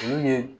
Olu ye